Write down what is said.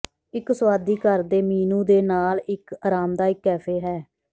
ਇੱਕ ਸੁਆਦੀ ਘਰ ਦੇ ਮੀਨੂ ਦੇ ਨਾਲ ਇੱਕ ਆਰਾਮਦਾਇਕ ਕੈਫੇ ਹੈ